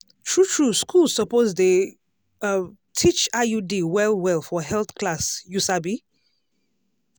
true true school suppose dey um teach iud well-well for health class you sabi?